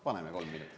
Paneme kolm minutit.